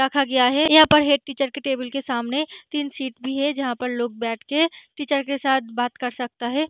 रखा गया है यहाँ पर हेड टीचर के टेबल के सामने तीन सीट भी है जहाँ पर लोग बैठ के टीचर के साथ बात कर सकता है।